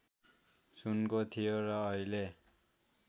सुनको थियो र अहिले